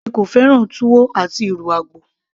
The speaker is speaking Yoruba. èmi kò fẹ́ràn túwó àti ìrù àgbò